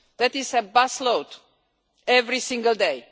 That is a bus load every single day.